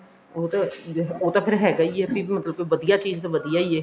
ਉਹ ਤਾਂ ਉਹ ਤਾਂ ਫੇਰ ਹੈਗਾ ਈ ਐ ਦੀਦੀ ਮਤਲਬ ਵਧੀਆ ਚੀਜ਼ ਲੋ ਵਧੀਆ ਈ ਐ